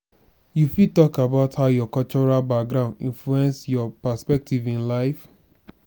you fit talk about how your cultural background influence your perspective in life.